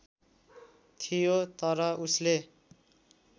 थियो तर उसले